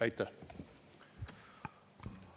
Aitäh!